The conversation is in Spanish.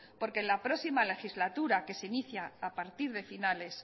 porque en la próxima legislatura que se inicia a partir de finales